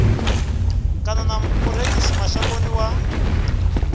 kana na murengisi mashangoni wa